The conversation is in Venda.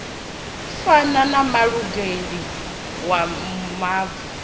fana na mulanguli wa mavhi